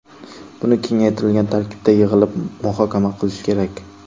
Buni kengaytirilgan tarkibda yig‘ilib muhokama qilish kerak.